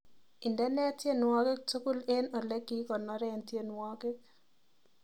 Indene tyenwogik tugul eng olegikonoren tyenwogik